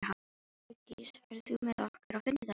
Hugdís, ferð þú með okkur á fimmtudaginn?